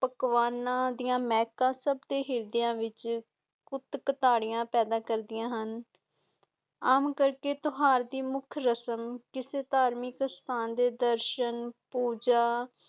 ਪਕਵਾਨ ਦੀਆਂ ਮਹਿਕਾਂ ਸਬਦੇ ਹਿਰਦਿਆਂ ਦੇ ਵਿਚ ਕੁੱਟ ਕਟਦੀਆਂ ਪੈਦਾ ਕਰਦਿਆਂ ਹੁਣ, ਆਮ ਕਰਕੇ ਤਿਓਹਾਰ ਦੀ ਮੁਖ ਰੇਸ਼ਮ ਕਿਸੀ ਤਾਰਮਿਕ ਸਥਾਨ ਦੇ ਦਰਸ਼ਨ ਪੂਜਾ